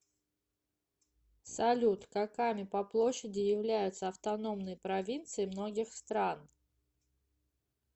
салют каками по площади являются автономные провинции многих стран